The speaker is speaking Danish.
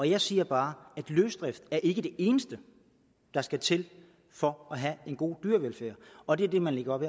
jeg siger bare at løsdrift ikke er det eneste der skal til for at have en god dyrevelfærd og det er det man lægger op